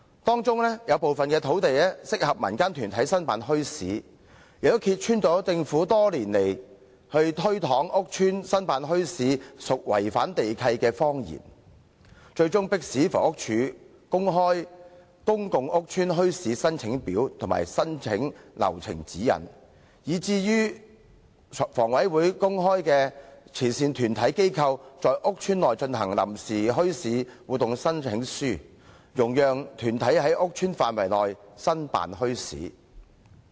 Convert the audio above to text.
當中有部分土地適合供民間團體申辦墟市，這也揭穿了政府多年來推搪說在屋邨申辦墟市屬違反地契的謊言，最終迫使房屋署公開"公共屋邨墟市申請表及申請流程指引"，以及迫使香港房屋委員會公開"慈善團體/機構在屋邨內進行臨時墟市活動申請書"，容許團體在屋邨範圍內申辦墟市。